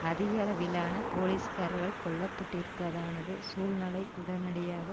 அதிகளவிலான போலீஸ்காரர்கள் கொல்லப்பட்டிருப்பதானது சூழ்நிலை உடனடியாக